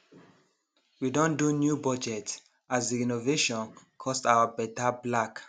we don do new budget as the renovation cost our better black